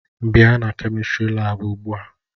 Bịa na kemistri laabu ugbu a!